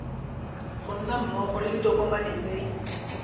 ga mmogo le ditokomane tse